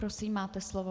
Prosím, máte slovo.